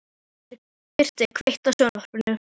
Birtir, kveiktu á sjónvarpinu.